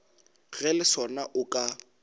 ge le sona o ka